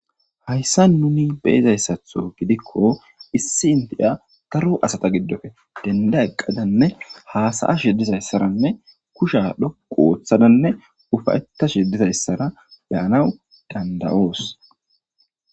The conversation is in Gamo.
Haysan nuni be'izaysatho giko issi indiya Dara asata gidope denda eqada ufayetada hasa'ashe dizaysi betes kushu dhoqu oothada ufayetishe dizaysara beyanawu dandayos